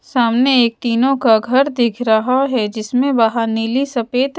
सामने एक तीनों का घर दिख रहा है जिसमें बाहर नीली सफेद--